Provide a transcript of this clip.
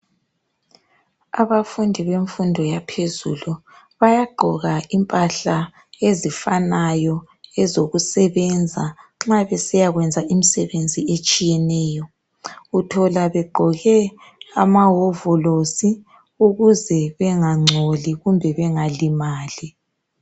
Abafundi bemfundo yaphezulu bayaqgoka impahla ezifanayo ezokusebenza nxa besiyakwenza imsebenzi etshiyeneyo uthola begqoke amahovolosi ukuze bengangcoli kumbe bengalimali.